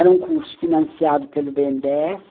Era um curso financiado pelo bê ene dê esse